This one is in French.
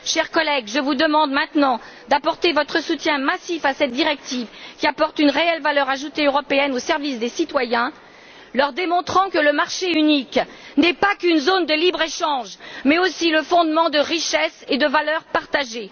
Chers collègues, je vous demande maintenant d'apporter votre soutien massif à cette directive qui apporte une réelle valeur ajoutée européenne au service des citoyens, leur démontrant que le marché unique n'est pas qu'une zone de libre échange mais aussi le fondement de richesses et de valeurs partagées.